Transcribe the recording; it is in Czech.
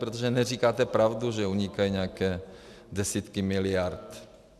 Protože neříkáte pravdu, že unikají nějaké desítky miliard.